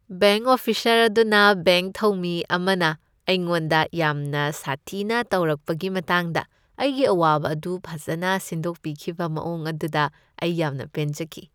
Bank officer ꯑꯗꯨꯅ bank ꯊꯧꯃꯤ ꯑꯃꯅ ꯑꯩꯉꯣꯟꯗ ꯌꯥꯝꯅ ꯁꯥꯊꯤꯅ ꯇꯧꯔꯛꯄꯒꯤ ꯃꯇꯥꯡꯗ ꯑꯩꯒꯤ ꯑꯋꯥꯕ ꯑꯗꯨ ꯐꯖꯅ ꯁꯤꯟꯗꯣꯛꯄꯤꯈꯤꯕ ꯃꯑꯣꯡ ꯑꯗꯨꯗ ꯑꯩ ꯌꯥꯝꯅ ꯄꯦꯟꯖꯈꯤ ꯫